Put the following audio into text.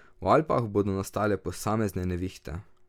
V Alpah bodo nastale posamezne nevihte.